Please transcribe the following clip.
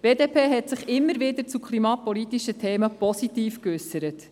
Die BDP hat sich immer wieder positiv zu klimapolitischen Themen geäussert.